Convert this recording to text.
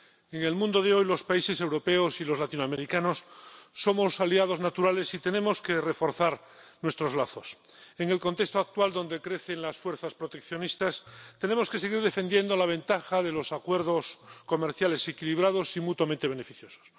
En el mundo de hoy, los países europeos y los latinoamericanos somos aliados naturales y tenemos que reforzar nuestros lazos. En el contexto actual, donde crecen las fuerzas proteccionistas, tenemos que seguir defendiendo la ventaja de los acuerdos comerciales equilibrados y mutuamente beneficiosos.